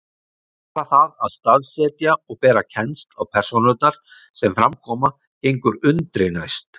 Bara það að staðsetja og bera kennsl á persónurnar sem fram koma gengur undri næst.